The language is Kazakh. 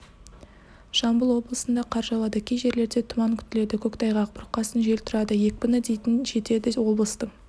жамбыл облысында қар жауады кей жерлерде тұман күтіледі көктайғақ бұрқасын жел тұрады екпіні дейін жетеді облыстың